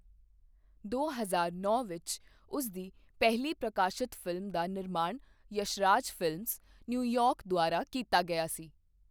ਦੋ ਹਜ਼ਾਰ ਨੌ ਵਿੱਚ ਉਸ ਦੀ ਪਹਿਲੀ ਪ੍ਰਕਾਸ਼ਿਤ ਫ਼ਿਲਮ ਦਾ ਨਿਰਮਾਣ ਯਸ਼ਰਾਜ ਫਿਲਮਜ਼, ਨਿਊਯਾਰਕ ਦੁਆਰਾ ਕੀਤਾ ਗਿਆ ਸੀ।